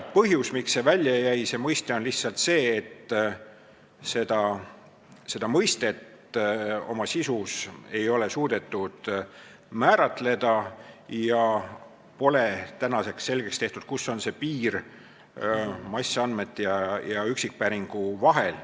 Põhjus, miks see mõiste välja jäi, on lihtsalt see, et selle mõiste sisu ei ole suudetud määratleda ja tänaseks pole selgeks tehtud, kus on piir massandmete ja üksikpäringu vahel.